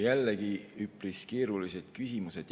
Jällegi üpris keerulised küsimused.